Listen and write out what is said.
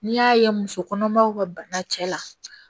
N'i y'a ye muso kɔnɔmaw ka bana cɛla